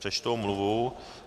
Přečtu omluvu.